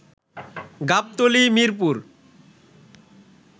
Gabtali, Mirpur